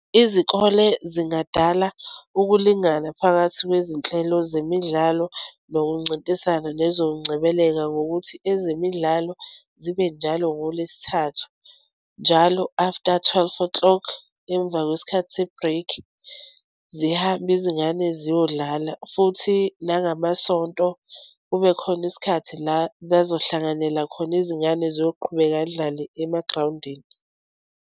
Izikole zingadala ukulingana phakathi kwezinhlelo zemidlalo nokuncintisana nezokungcebeleka ngokuthi ezemidlalo zibe njalo ngoLwesithathu, njalo after twelve o'clock emva kwesikhathi se-break zihambe izingane ziyodlala futhi nangamaSonto kube khona isikhathi la bazohlanganyela khona izingane ziyoqhubeka yidlale emagrawundini.